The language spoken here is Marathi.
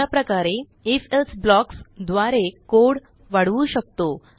अशाप्रकारे आयएफ एल्से ब्लॉक्स द्वारे कोड वाढवू शकतो